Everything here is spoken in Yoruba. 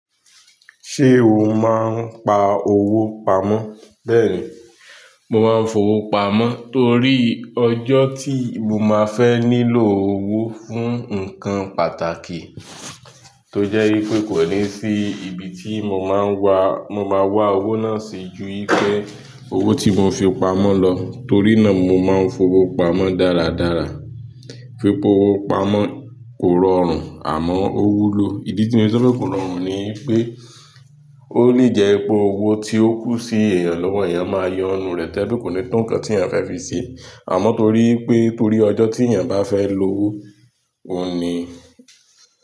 Ṣé o máa ń pa owó pamọ́? Bẹ́ẹ̀ni, mo máa ń fowó pamọ́ torí ọjọ́ tí mo máa fẹ́ nílò owó fún ǹkan pàtàkì tó jẹ́ pé kò ní sí ibi tí mo máa wá, mo máa wá owó náà sí ju wípé owó tí mo fi pamọ́ lọ. Torí náà mo máa ń fowó pamọ́ dáradára. Pípa owó pamọ́ kò rọrùn àmọ́ ó wúlò. Ìdí tí mo fi sọ pé kò rọrùn ni pé ó lè jẹ́ pé owó tí ó kù sí èèyàn lọ́wọ́ èèyàn máa yo nínú rẹ̀ tó je pe ko ni tó nǹkan tí èèyàn fẹ́ fi ṣe. Àmọ́ torí pé torí ọjọ́ tí èèyàn bá fẹ́ lo owó oun ni.